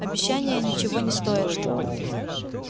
обещания ничего не стоят